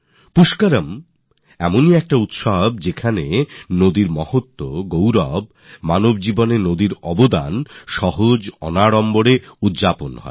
পুষ্করম এমনই একটি উৎসব যাতে নদীর মাহাত্ম্য নদীর গৌরব জীবনে নদীর গুরুত্ব অত্যন্ত সহজভাবে ভাবে পরিস্ফুট হয়